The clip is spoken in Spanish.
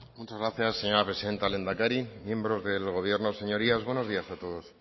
muchas gracias señora presidenta lehendakari miembros del gobierno señorías buenos días a todos